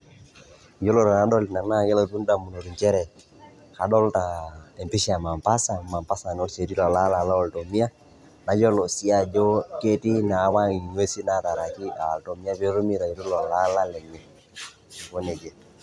Iyiolo tenadol ina naake elotu ndamunot njere adolta empisha e Mombasa, Mombasa naa oshi etii lelo alak looltomia, nayolo sii ajo ketii naapa ng'uesi nataraki a iltomia pee etumi aitau lelo alak lenye, neeku neja.